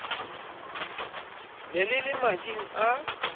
ne le le mading a